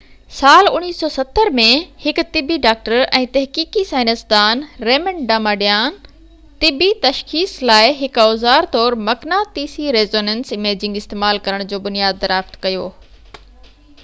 سال 1970 ۾ هڪ طبي ڊاڪٽر ۽ تحقيقي سائنسدان ريمنڊ ڊاماڊيان طبي تشخيص لاءِ هڪ اوزار طور مقناطيسي ريسونينس اميجنگ استعمال ڪرڻ جو بنياد دريافت ڪيو